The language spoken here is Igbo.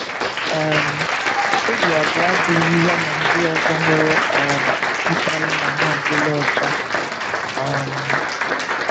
“ um Obi abụọ adịghị ya na ndị ọzọ nwere um mkpali na ha adịla ọcha. um